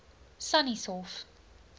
sannieshof